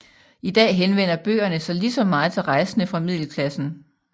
I dag henvender bøgerne sig lige så meget til rejsende fra middelklassen